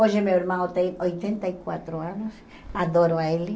Hoje meu irmão tem oitenta e quatro anos, adoro ele.